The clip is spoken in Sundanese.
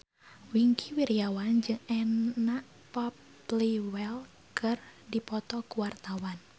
Wingky Wiryawan jeung Anna Popplewell keur dipoto ku wartawan